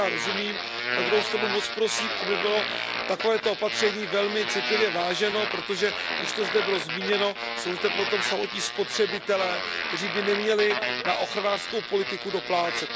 Tomu já rozumím, na druhou stranu moc prosím, aby bylo takovéto opatření velmi citlivě váženo, protože už to zde bylo zmíněno, jsou zde potom samotní spotřebitelé, kteří by neměli na ochranářskou politiku doplácet.